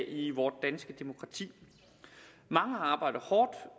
i vort danske demokrati mange arbejder hårdt